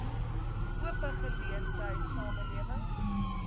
ope geleentheid samelewing